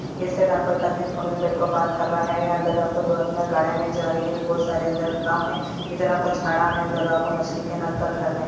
बात कर रहा है अंदर आपको दो आदमी गाड़ी में जा रही है बहुत सारे अंदर खड़ा है इतना कुछ आना है उधर आपको मछली के नाम का घर है|